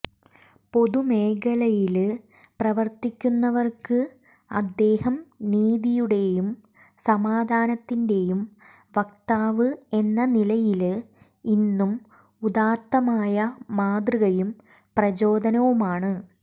പൊതുമേഖലയില് പ്രവര്ത്തിക്കുന്നവര്ക്ക് അദ്ദേഹം നീതിയുടെയും സമാധാനത്തിന്റെയും വക്താവ് എന്ന നിലയില് ഇന്നും ഉദാത്തമായ മാതൃകയും പ്രചോദനവുമാണ്